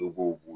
Dɔ b'o